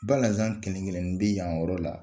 Balazan kelenkelenin bɛ yan yɔrɔ la.